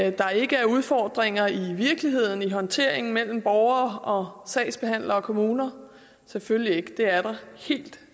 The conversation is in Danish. at der ikke er udfordringer i virkeligheden i håndteringen mellem borgere og sagsbehandlere og kommuner selvfølgelig ikke det er der helt